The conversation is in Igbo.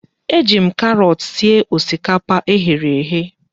Eji m karọọt sie osikapa eghere eghe.